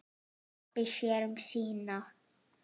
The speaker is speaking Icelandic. Pabbi sér um sína.